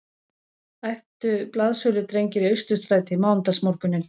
æptu blaðsöludrengir í Austurstræti mánudagsmorguninn